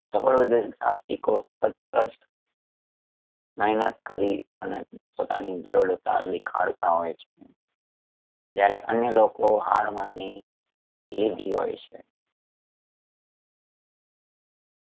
સફળ ઉધ્યોગિક સાહસિકો સતત મહેનત કરી અને પોતાની દ્રઢતા દેખાડતા હોય છે. જ્યારે અન્ય લોકો હાર માની લીધી હોય છે